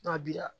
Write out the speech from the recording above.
N'a bi la